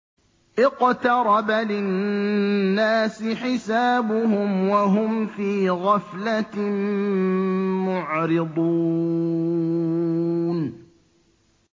اقْتَرَبَ لِلنَّاسِ حِسَابُهُمْ وَهُمْ فِي غَفْلَةٍ مُّعْرِضُونَ